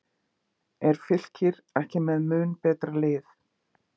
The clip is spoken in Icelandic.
Er Fylkir ekki með mun betra lið?